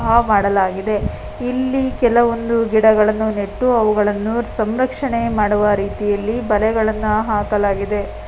ಹಾವ ಆಡಲಾಗಿದೆ ಇಲ್ಲಿ ಕೆಲಒಂದು ಗಿಡಗಳನ್ನು ನೆಟ್ಟು ಅವುಗಳನ್ನು ಸಂರಕ್ಷಣೆ ಮಾಡುವ ರೀತಿಯಲ್ಲಿ ಬಲೆಗಳನ್ನು ಹಾಕಲಾಗಿದೆ.